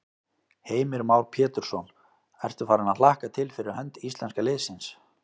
Heimir Már Pétursson: Ertu farin að hlakka til fyrir hönd íslenska liðsins?